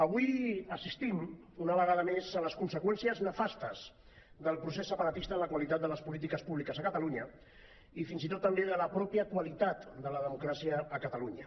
avui assistim una vegada més a les conseqüències nefastes del procés separatista en la qualitat de les polítiques públiques a catalunya i fins i tot també en la mateixa qualitat de la democràcia a catalunya